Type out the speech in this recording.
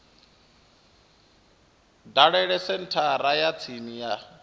dalele senthara ya tsini ya